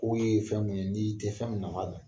fɛn mun ye n'i tɛ fɛn min nafa dɔn.